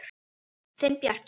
Þinn, Bjarki.